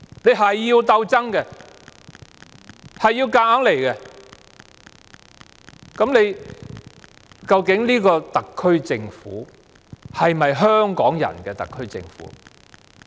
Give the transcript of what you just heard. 老是要鬥爭，老是要硬來，究竟這個特區政府是否香港人的特區政府？